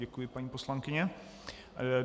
Děkuji, paní poslankyně.